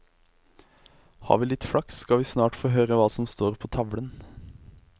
Har vi litt flaks skal vi snart få høre hva som står på tavlen.